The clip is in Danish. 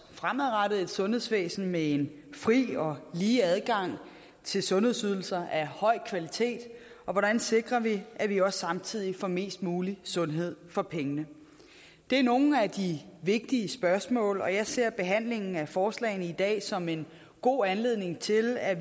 fremadrettet at have et sundhedsvæsen med en fri og lige adgang til sundhedsydelser af høj kvalitet og hvordan sikrer vi at vi samtidig får mest mulig sundhed for pengene det er nogle af de vigtige spørgsmål og jeg ser behandlingen af forslagene i dag som en god anledning til at